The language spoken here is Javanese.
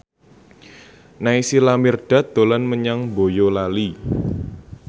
Naysila Mirdad dolan menyang Boyolali